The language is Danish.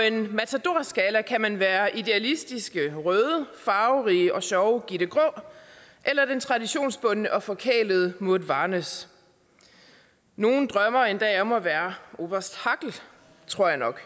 en matadorskala kan man være idealistiske røde farverige og sjove gitte grå eller den traditionsbundne og forkælede maude varnæs nogle drømmer endda om at være oberst hackel tror jeg nok